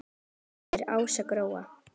Þín systir Ása Gróa.